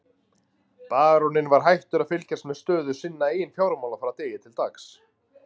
Baróninn var hættur að fylgjast með stöðu sinna eigin fjármála frá degi til dags.